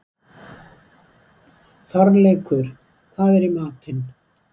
Þorleikur, hvað er í matinn?